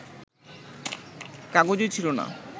কাগজই ছিল না